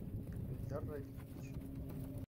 ильдар равильевич